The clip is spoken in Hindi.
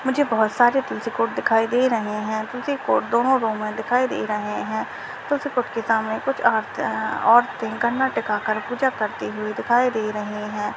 मुझे बहुत सारे दिखाई दे रहे हे दोनों रौ में दिखाई दे रहे हे के सामने कुछ और औरते गणना टीकाकार पूजा करती हुए दिखाई दे रही है।